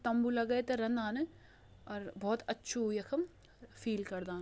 तम्बू लगे त रंदान अर भोत अच्छु यखम फील करदान।